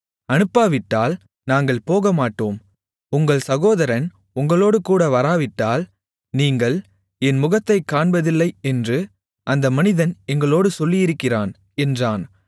அனுப்பாவிட்டால் நாங்கள் போகமாட்டோம் உங்கள் சகோதரன் உங்களோடுகூட வராவிட்டால் நீங்கள் என் முகத்தைக் காண்பதில்லை என்று அந்த மனிதன் எங்களோடு சொல்லியிருக்கிறான் என்றான்